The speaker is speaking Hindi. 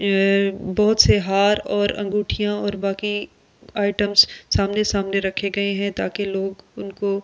ए बहुत से हार और अगुठीया और बाकी आइटम सामने सामने रखे गये है ताकि लोग उनको सेम्प